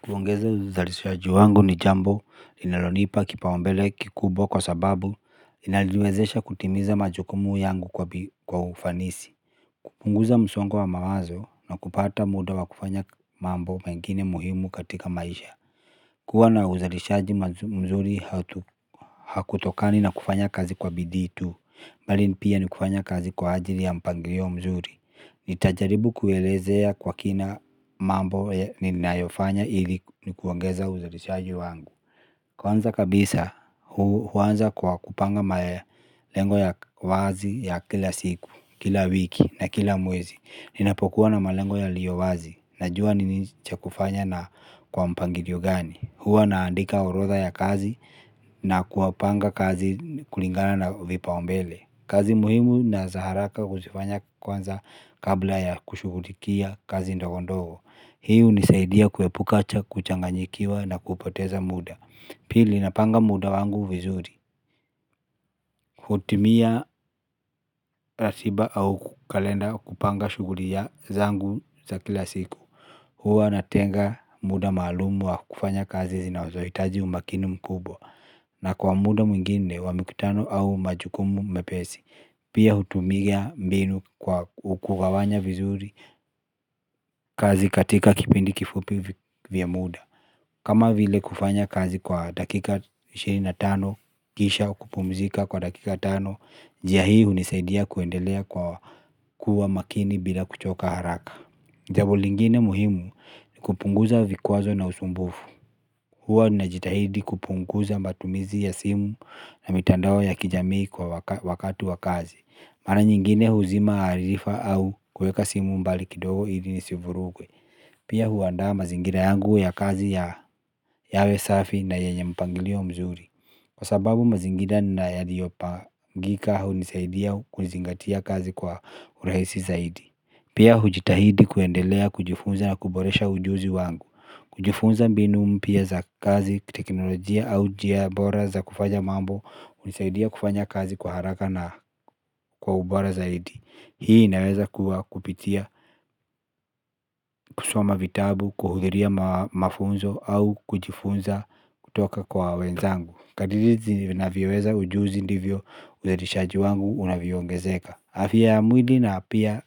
Kuongeza uzalishaji wangu ni jambo inalonipa kipaumbele kikubwa kwa sababu inalilwezesha kutimiza majukumu yangu kwa ufanisi. Kupunguza msongo wa mawazo na kupata muda wa kufanya mambo mengine muhimu katika maisha. Kuwa na uzalishaji mzuri hatu hakutokani na kufanya kazi kwa bidii tu bali ni pia ni kufanya kazi kwa ajili ya mpangilio mzuri. Nitajaribu kuelezea kwa kina mambo ninayofanya hili nikuongeza uzalishaju wangu. Kwanza kabisa huanza kupanga malengo ya wazi ya kila siku, kila wiki na kila mwezi. Ninapokuwa na malengo yaliyo wazi najua nini chakufanya na kwa mpangilio gani. Huwa naandika orodha ya kazi na kuwapanga kazi kulingana na vipaumbele. Kazi muhimu na za haraka huzifanya kwanza kabla ya kushugulikia kazi ndagondogo. Hii unisaidia kuepuka cha kuchanganyikiwa na kupoteza muda. Pili napanga muda wangu vizuri. Hutumia ratiba au kalenda kupanga shuguli zangu za kila siku. Huwa natenga muda maalumu wa kufanya kazi zinazoitaji umakini mkubwa. Na kwa muda mwingine wa mvutano au majukumu mepesi. Pia hutumia mbinu kwa kugawanya vizuri kazi katika kipindi kifupi vya muda. Kama vile kufanya kazi kwa dakika ishirini na tano kisha kupumzika kwa dakika tano. Njia hii unisaidia kuendelea kwa kuwa makini bila kuchoka haraka jabo lingine muhimu kupunguza vikwazo na usumbufu. Huwa na jitahidi kupunguza matumizi ya simu na mitandao ya kijamii kwa wakati wa kazi. Mara nyingine huzima harifa au kuweka simu mbali kidogo ili ni sivurugwe. Pia huandaa mazingira yangu ya kazi ya yawe safi na yenye mpangilio mzuri. Kwa sababu mazingira na yaliopangika hunisaidia kuizingatia kazi kwa urahisi zaidi. Pia hujitahidi kuendelea kujifunza na kuboresha ujuzi wangu. Kujifunza mbinu mpya za kazi, teknolojia au jia bora za kufanya mambo. Unisaidia kufanya kazi kwa haraka na kwa ubora zaidi. Hii inaweza kuwa kupitia kusoma vitabu, kuhudhiria mafunzo au kujifunza kutoka kwa wenzangu. Kadiri zinavyoweza ujuzi ndivyo uzalishaji wangu unavyeongezeka. Afya mwili na pia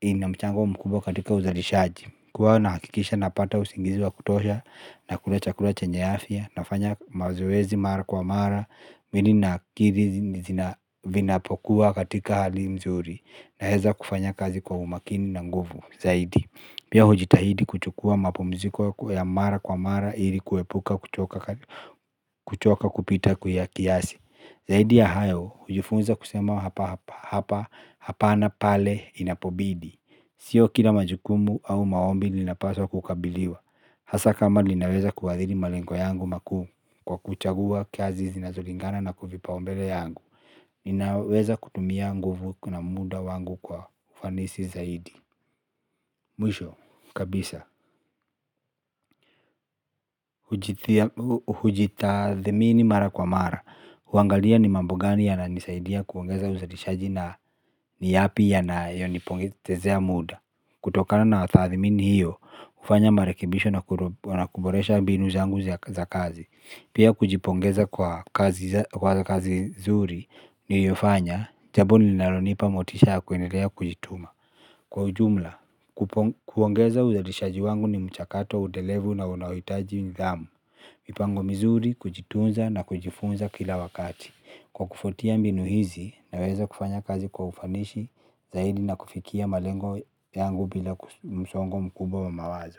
inamchango mkubwa katika uzalishaji. Kwa nahakikisha napata usingizi wa kutosha nakula chakula chenye afya nafanya mazoezi mara kwa mara mwili na akiri zina vinapokuwa katika hali nzuri naeza kufanya kazi kwa umakini na nguvu zaidi pia hujitahidi kuchukua mapumziko ya mara kwa mara ili kuepuka kuchoka kupita kuya kiasi zaidi ya hayo hujifunza kusema hapa hapa hapana pale inapobidi sio kila majukumu au maombi linapaswa kukabiliwa hasa kama linaweza kuadhiri malengo yangu makuu. Kwa kuchagua kazi zinazolingana na kuvipaumbele yangu ninaweza kutumia nguvu na muda wangu kwa ufanisi zaidi. Mwisho kabisa hujitathmini mara kwa mara. Uangalia ni mambo gani yananisaidia kuongeza uzalishaji na ni yapi yanayonipotezea muda. Kutokana na tathmini hiyo ufanya marekibisho na kuboresha mbinu zangu za kazi. Pia kujipongeza kwa kazi zuri niliyofanya jabo linalonipa motisha kwendelea kujituma. Kwa ujumla, kuongeza uzalishaji wangu ni mchakato edelevu na unaitaji mdhamu. Mipango mizuri kujitunza na kujifunza kila wakati kwa kufuatia mbinu hizi, naweza kufanya kazi kwa ufanishi zaidi na kufikia malengo yangu bila msongo mkubwa wa mawazo.